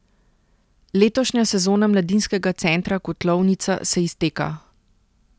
Letošnja sezona Mladinskega centra Kotlovnica se izteka.